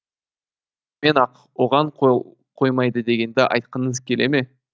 шынымен ақ оған қол қоймайды дегенді айтқыңыз келе ме